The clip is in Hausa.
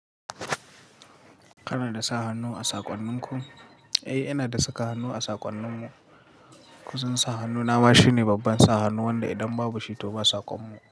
Kana da sa hannu a saƙonnin ku? Eh eh, ina da saka hannu a saƙonnin mu. Kusan sa hannu na ba shine babban sa hannu wanda idan babu shi to ba saƙon mu.